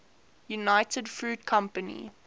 united fruit company